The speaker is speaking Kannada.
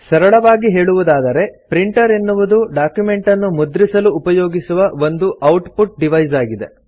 ಸರಳವಾಗಿ ಹೇಳುವುದಾದರೆ ಪ್ರಿಂಟರ್ ಎನ್ನುವುದು ಡಾಕ್ಯುಮೆಂಟನ್ನು ಮುದ್ರಿಸಲು ಉಪಯೋಗಿಸುವ ಒಂದು ಔಟ್ ಪುಟ್ ಡಿವೈಸ್ ಆಗಿದೆ